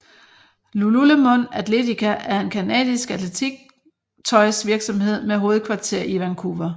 lululemon athletica er en canadisk atletiktøjsvirksomhed med hovedkvarter i Vancouver